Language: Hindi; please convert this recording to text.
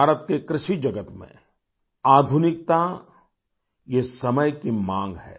भारत के कृषि जगत में आधुनिकता ये समय की मांग है